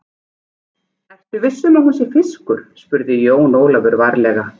Ertu viss um að hún sé fiskur, spurði Jón Ólafur varlega.